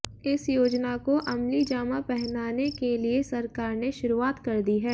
इस योजना को अमलीजामा पहनाने के लिए सरकार ने शुरुआत कर दी है